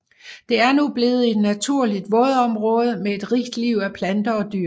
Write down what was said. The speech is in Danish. Det er nu blevet et naturligt vådområde med et rigt liv af planter og dyr